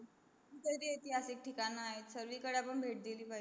एतीहासिक ठिकाण आहे सरवीकडे आपण भेट दिली पाहिजे